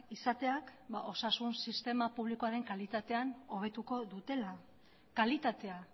izateak osasun sistema publikoaren kalitatean hobetuko dutela kalitatea